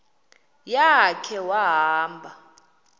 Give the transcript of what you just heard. ya khe wahamba